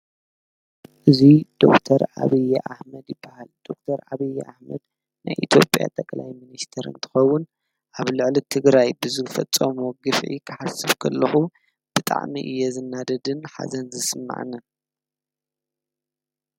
እዚ ዶክተር ኣብዪ ኣሕመድ ይበሃል ዶክተር አብዪ ኣሕመድ ናይ ኢትዮጵያ ጠቅላይ ሚኒስትር እንትከውን ኣብ ልዕሊ ትግራይ ብዝፈፀሞ ግፍዒ ክሓስብ ከለኩ ብጣዕሚ እየ ዝናደድን ሓዘን ዝስማዓንን ።